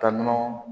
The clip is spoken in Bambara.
Ka nɔnɔ